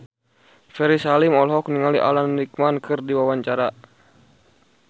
Ferry Salim olohok ningali Alan Rickman keur diwawancara